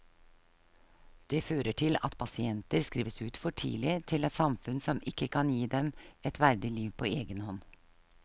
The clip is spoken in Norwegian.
Det fører til at pasienter skrives ut for tidlig til et samfunn som ikke kan gi dem et verdig liv på egen hånd.